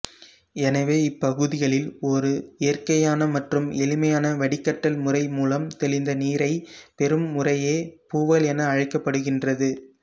எனவே இப்புகுதிகளில் ஒரு இயற்கையான மற்றும் எளிமையான வடிகட்டல் முறைமூலம் தெளிந்த நீரைப் பெறும் முறையே பூவல் என அழைக்கப்படுகின்றது